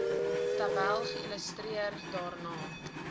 tabel geïllustreer daarna